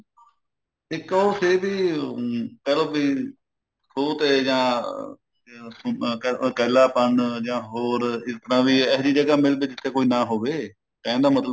ਇੱਕ ਉਹ ਸੀ ਇਹਦੀ ਅਮ ਕਹਿਲੋ ਵੀ ਖੂਹ ਤੇ ਜਾਂ ਇਕੱਲਾਪਨ ਜਾਂ ਹੋਰ ਇੱਦਾਂ ਵੀ ਇਹੀ ਜੀ ਜਗ੍ਹਾਂ ਮਿਲ ਜਿੱਥੇ ਕੋਈ ਨਾ ਹੋਵੇ ਕਹਿਣ ਦਾ ਮਤਲਬ